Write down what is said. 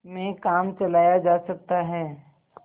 में काम चलाया जा सकता है